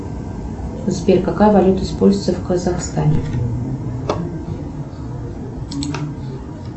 сбер какая валюта используется в казахстане